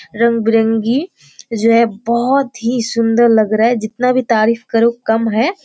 रंग-बिरंगी ये जो हैं बहुत ही सुंदर लग रहा हैं जितना भी तारीफ करू कम हैं।